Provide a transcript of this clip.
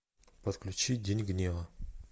подключи день гнева